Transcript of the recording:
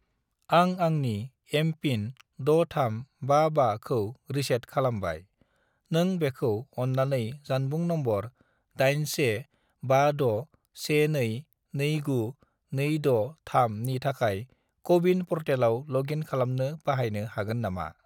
आं आंनि MPIN 6355 खौ रिसेट खालामबाय, नों बेखौ अन्नानै जानबुं नम्बर 81561229263 नि थाखाय क'-विन पर्टेलाव लग इन खालामनो बाहायनो हागोन नामा?